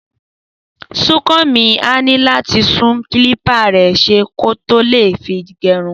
Súnkànmí á ní láti tún kílípà rẹ̀ ṣe kó tó lè fi gẹrun